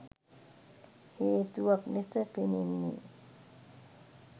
හේතුවක් ලෙස පෙනෙන්නේ